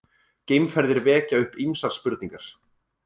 Geimferðir vekja upp ýmsar spurningar!